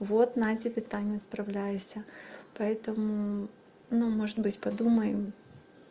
вот натебе таня справляйся поэтому ну может быть подумаем